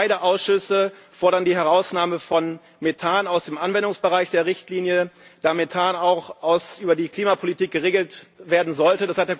Beide Ausschüsse fordern die Herausnahme von Methan aus dem Anwendungsbereich der Richtlinie, da Methan auch über die Klimapolitik geregelt werden sollte.